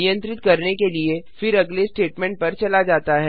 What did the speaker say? नियंत्रित करने के लिए फिर अगले स्टेटमेंट पर चला जाता है